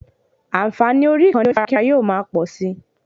Ànfààní orí ìkànnì onífarakínra yóò ma pọ̀si